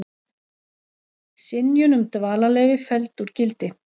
Synjun um dvalarleyfi felld úr gildi